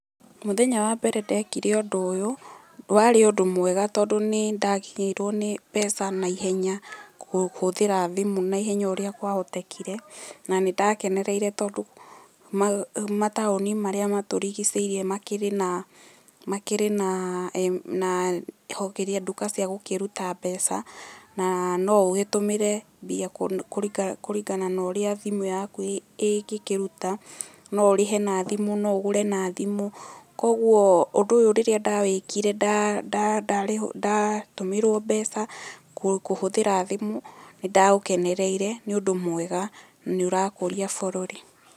Mũthenya wa mbere ndekire ũndũ ũyũ wari ũndũ mwega tondũ nĩ ndakinyĩirwo nĩ mbeca na ihenya kũhũthĩra thimũ na ihenya ũrĩa kwahũtekire na nĩ ndakenereire tondũ mataoni marĩa matũrigicĩirie makĩrĩ na nduka cia gũkĩruta mbeca na no ũgĩtũmĩre mbia kũringana na ũrĩa thimũ yaku ĩngĩkĩruta, no ũrĩhe na thimũ no ũgũre na thimũ. Kwoguo ũndũ ũyũ rĩrĩa ndawĩkire ndatũmĩrwo mbeca kũhũthĩra thimũ nĩ ndaũkenereire nĩ ũndũ mwega na nĩ ũrakũria bũrũri.